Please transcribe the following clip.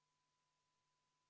Aitäh sõna andmast, austatud eesistuja!